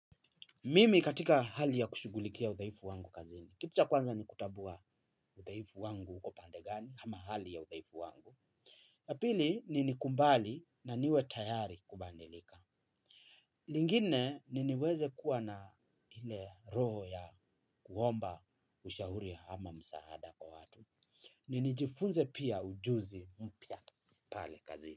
Mimi katika hali ya kushughulikia udhaifu wangu kazini. Kitu cha kwanza ni kutambua udhaifu wangu uko pande gani ama hali ya udhaifu wangu. La pili ni nikumbali na niwe tayari kubandilika. Lingine ni niweze kuwa na ile roho ya kuomba ushauri ama msaada kwa watu. Ni nijifunze pia ujuzi mpya pale kazini.